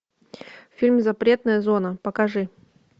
фильм запретная зона покажи